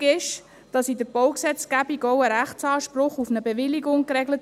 Richtig ist, dass die Baugesetzgebung auch ein Rechtsanspruch auf eine Bewilligung regelt.